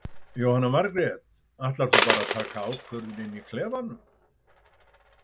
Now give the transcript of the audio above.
Jóhanna Margrét: Ætlar þú bara að taka ákvörðun inn í klefanum?